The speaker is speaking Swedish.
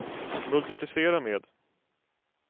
multiplicera med